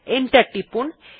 enter টিপুন